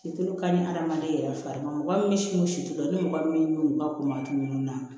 Situlu ka ɲi hadamaden yɛrɛ farima mɔgɔ min situlu ni mɔgɔ min ka ko manti ninnu na